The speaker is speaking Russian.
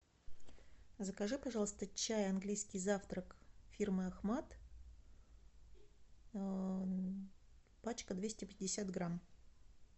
закажи пожалуйста чай английский завтрак фирмы ахмад пачка двести пятьдесят грамм